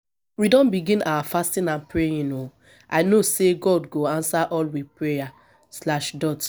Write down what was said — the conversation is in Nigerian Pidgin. we don begin our fasting and praying o i know sey god go answer all we prayer slash dot